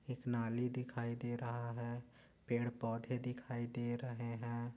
एक नाली दिखाई दे रहा है पेड पौधे दिखाई दे रहे है।